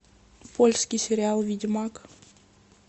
польский сериал ведьмак